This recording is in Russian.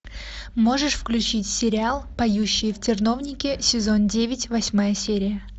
можешь включить сериал поющие в терновнике сезон девять восьмая серия